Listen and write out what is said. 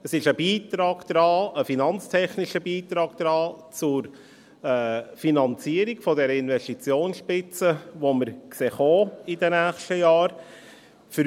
Es ist ein Beitrag, ein finanztechnischer Beitrag an die Finanzierung der Investitionsspitze, die wir in den nächsten Jahren kommen sehen.